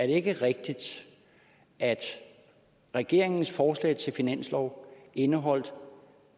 ikke er rigtigt at regeringens forslag til finanslov indeholdt